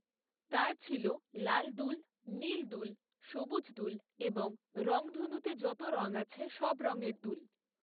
তার ছিল লাল দুল, নীল দুল, সবুজ দুল, এবং রঙধনুতে যত রঙ আছে সব রঙের দুল।